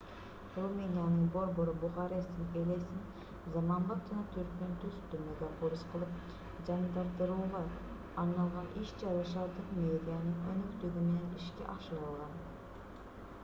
румыниянын борбору бухаресттин элесин заманбап жана түркүн түстүү мегаполис кылып жандандырууга арналган иш-чара шаардык мэриянын өнөктүгү менен ишке ашырылган